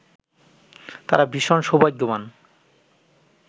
তারা ভীষণ সৌভাগ্যবান